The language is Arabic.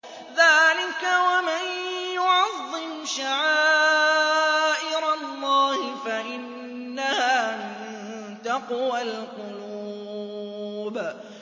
ذَٰلِكَ وَمَن يُعَظِّمْ شَعَائِرَ اللَّهِ فَإِنَّهَا مِن تَقْوَى الْقُلُوبِ